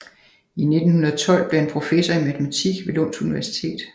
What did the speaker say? I 1912 blev han professor i matematik ved Lunds Universitetet